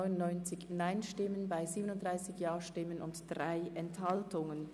Sie haben diese Planungserklärung abgelehnt mit 37 Ja- gegen 99 Nein-Stimmen bei 3 Enthaltungen.